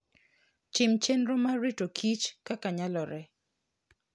Tim chenro mar rito kich kaka nyalore.